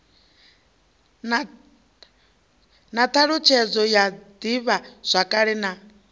na thalutshedzo ya divhazwakale na